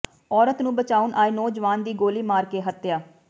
ਔਰਤ ਨੂੰ ਬਚਾਉਣ ਆਏ ਨੌਜਵਾਨ ਦੀ ਗੋਲੀ ਮਾਰ ਕੇ ਹੱਤਿਆ